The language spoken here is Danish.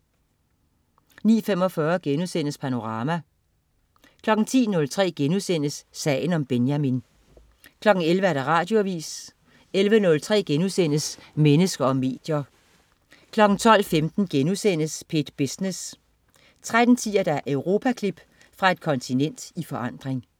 09.45 Panorama* 10.03 Sagen om Benjamin* 11.00 Radioavis 11.03 Mennesker og medier* 12.15 P1 Business* 13.10 Europaklip. Fra et kontinent i forandring